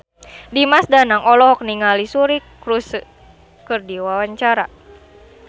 Dimas Danang olohok ningali Suri Cruise keur diwawancara